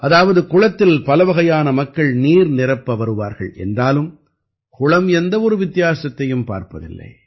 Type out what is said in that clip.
அதாவது குளத்தில் பலவகையான மக்கள் நீர் நிரப்ப வருவார்கள் என்றாலும் குளம் எந்த ஒரு வித்தியாசத்தையும் பார்ப்பதில்லை